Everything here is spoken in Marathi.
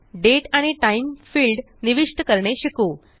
दाते आणि टाइम फिल्ड निविष्ट करणे शिकू